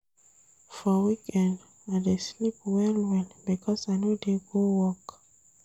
For weekend, I dey sleep well-well because I no dey go work.